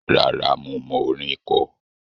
Rárá, mo mọ orin kọ.